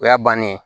O y'a bannen ye